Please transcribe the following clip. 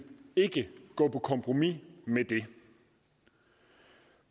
gå på kompromis med det